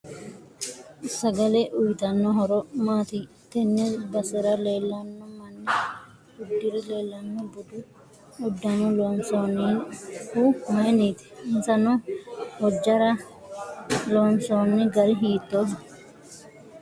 Sagale uyiitanno horo maati tenne basera leelanno manni udirre leelanno budu uddano loonsoonihu mayiiniti insa noo hojaara loonsoono gari hiitooho